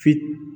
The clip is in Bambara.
Fi